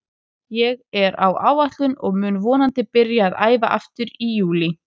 Ég er á áætlun og mun vonandi byrja að æfa aftur í júlí.